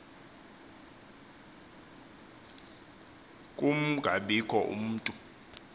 kun gabikho mntu